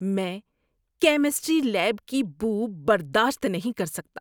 میں chemistry lab کی بو برداشت نہیں کر سکتا۔